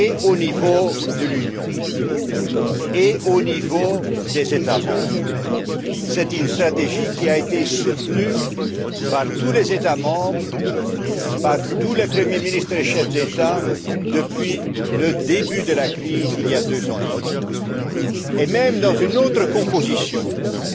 au niveau de l'Union qu'au niveau des États membres, est une stratégie qui a été soutenue par tous les États membres, par tous les premiers ministres et chefs d'État depuis le début de la crise, il y a deux ans et demi, y inclus dans une autre composition puisque